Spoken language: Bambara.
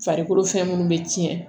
Farikolo fɛn munnu be tiɲɛ